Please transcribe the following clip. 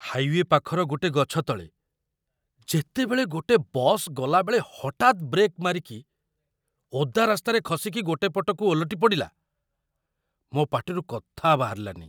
Highway ପାଖର ଗୋଟେ ଗଛ ତଳେ, ଯେତେବେଳେ ଗୋଟେ ବସ୍ ଗଲାବେଳେ ହଠାତ୍ ବ୍ରେକ୍ ମାରିକି ଓଦା ରାସ୍ତାରେ ଖସିକି ଗୋଟେ ପଟକୁ ଓଲଟି ପଡ଼ିଲା, ମୋ' ପାଟିରୁ କଥା ବାହାରିଲାନି!